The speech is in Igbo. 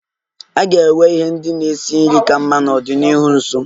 A ga-enwe ihe ndị na-esi nri ka mma n'ọdịnihu dị nso.